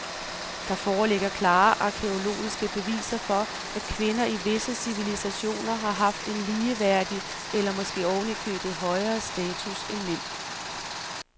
Der foreligger klare arkæologiske beviser for, at kvinder i visse civilisationer har haft en ligeværdig eller måske oven i købet højere status end mænd.